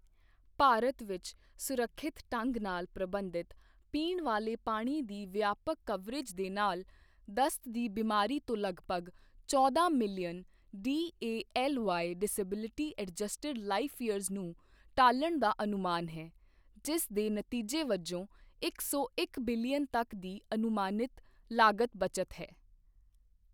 ਭਾਰਤ ਵਿੱਚ ਸੁਰੱਖਿਅਤ ਢੰਗ ਨਾਲ ਪ੍ਰਬੰਧਿਤ ਪੀਣ ਵਾਲੇ ਪਾਣੀ ਦੀ ਵਿਆਪਕ ਕਵਰੇਜ ਦੇ ਨਾਲ, ਦਸਤ ਦੀ ਬਿਮਾਰੀ ਤੋਂ ਲਗਭਗ ਚੌਦਾਂ million DALY disability adjusted life years ਨੂੰ ਟਾਲਣ ਦਾ ਅਨੁਮਾਨ ਹੈ, ਜਿਸ ਦੇ ਨਤੀਜੇ ਵਜੋਂ ਇੱਕ ਸੌ ਇੱਕ ਬਿਲੀਅਨ ਤੱਕ ਦੀ ਅਨੁਮਾਨਿਤ ਲਾਗਤ ਬਚਤ ਹੈ।